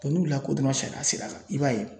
n'u lakodɔnna sariya sira kan i b'a ye